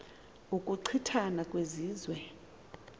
ukuchi thana kwezizwe